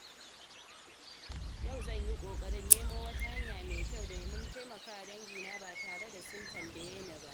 Yau zan yi ƙoƙarin nemo wata hanya mai kyau domin taimakawa dangina ba tare da sun tambaye ni ba.